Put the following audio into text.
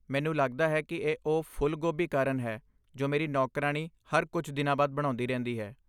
ਮੈਨੂੰ ਲੱਗਦਾ ਹੈ ਕਿ ਇਹ ਉਹ ਫੁੱਲ ਗੋਭੀ ਕਾਰਨ ਹੈ ਜੋ ਮੇਰੀ ਨੌਕਰਾਣੀ ਹਰ ਕੁਝ ਦਿਨਾਂ ਬਾਅਦ ਬਣਾਉਂਦੀ ਰਹਿੰਦੀ ਹੈ।